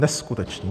Neskutečné!